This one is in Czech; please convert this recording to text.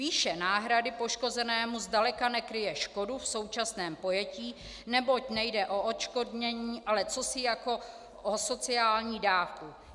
Výše náhrady poškozenému zdaleka nekryje škodu v současném pojetí, neboť nejde o odškodnění, ale o cosi jako sociální dávku.